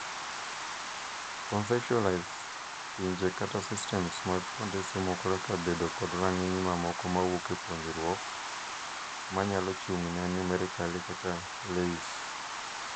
Conceptualize pinje kata systems mag kuonde somo kaka bedo kod rang'iny mamoko mawuok e puonjruok, manyalo chung' ne numerically kaka LAYS.